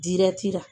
Dirati la